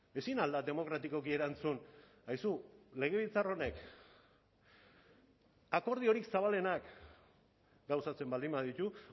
ezin al da demokratikoki erantzun aizu legebiltzar honek akordiorik zabalenak gauzatzen baldin baditu